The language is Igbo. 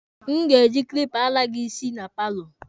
A ma-eji kilipa ala gị isi na paalo.